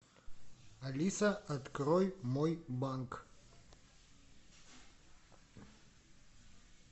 алиса открой мой банк